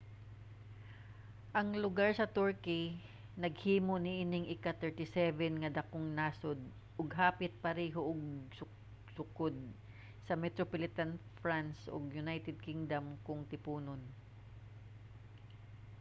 ang lugar sa turkey naghimo niining ika-37 nga dakong nasod ug hapit pareho og sukod sa metropolitan france ug united kingdom kon tiponon